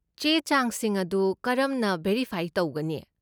ꯆꯦ ꯆꯥꯡꯁꯤꯡ ꯑꯗꯨ ꯀꯔꯝꯅ ꯚꯦꯔꯤꯐꯥꯏ ꯇꯧꯒꯅꯤ?